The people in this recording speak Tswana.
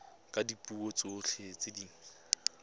ka dipuo tsotlhe tse di